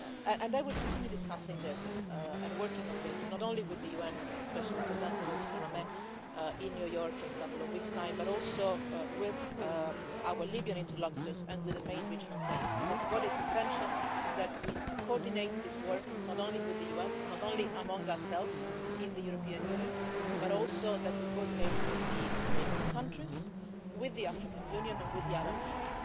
And I will continue discussing this and working on this, not only with the UN special representative Salamé in New York in a couple of weeks' time, but also with our Libyan interlocutors and with the main regional players, because what is essential is that we coordinate this work not only with the UN, not only among ourselves in the European Union, but also that we coordinate with the neighbouring countries, with the African Union and with the Arab League.